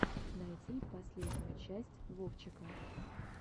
найти последнюю часть вовчика